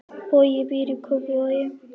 Bogi býr í Kópavogi.